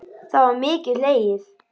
Það var mikið hlegið.